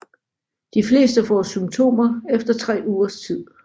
De fleste får symptomer efter tre ugers tid